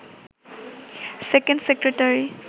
second secretary